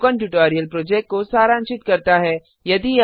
यह spoken tutorial project को सारांशित करता है